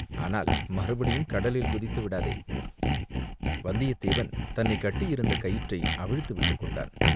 ஆனால் மறுபடியும் கடலில் குதித்துவிடாதே!" வந்தியத்தேவன் தன்னைக் கட்டியிருந்த கயிற்றை அவிழ்த்து விட்டுக்கொண்டான்.